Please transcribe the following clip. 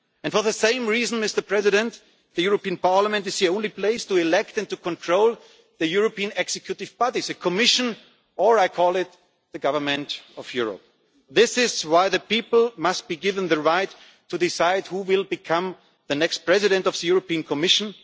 And for the same reason, the European Parliament is the only place to elect and to control the European executive bodies the Commission, or, as I call it, the government of Europe. This is why the people must be given the right to decide who will become the next President of the European Commission.